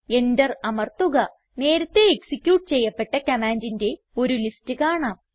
enter അമർത്തുക നേരത്തേ execute ചെയ്യപ്പെട്ട കമാൻഡിന്റെ ഒരു ലിസ്റ്റ് കാണാം